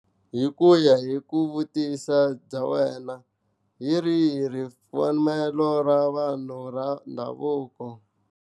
Hi ku ya hi ku vutisa bya wena hi rihi ripfumelo ra vanhu ra ndhavuko.